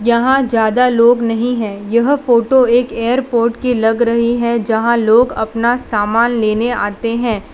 यहां ज्यादा लोग नहीं है यह फोटो एक एयरपोर्ट की लग रही है जहां लोग अपना सामान लेने आते हैं।